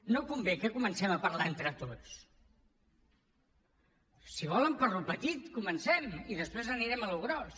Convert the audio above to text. no convé que comencem a parlar entre tots si volen pel que és petit comencem i després anirem al que és gros